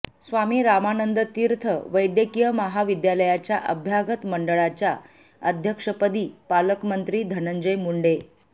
स्वामी रामानंद तीर्थ वैद्यकीय महाविद्यालयाच्या अभ्यागत मंडळाच्या अध्यक्षपदी पालकमंत्री धनंजय मुंडे